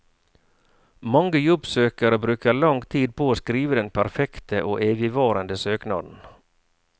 Mange jobbsøkere bruker lang tid på å skrive den perfekte og evigvarende søknaden.